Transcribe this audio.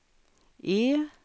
E